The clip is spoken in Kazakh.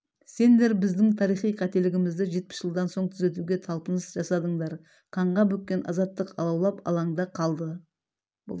сендер біздің тарихи қателігімізді жетпіс жылдан соң түзетуге талпыныс жасадыңдар қанға бөккен азаттық алаулап алаңда қалды